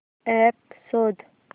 app शोध